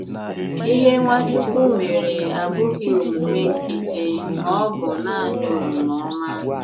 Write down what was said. Ìhè Nwachukwu mèré àbụ̀ghi emùmè nkìtíí mà ọ̀ bụ̀ naanị òmùmè òmá.